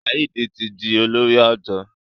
Saheed tí dì olórí odò.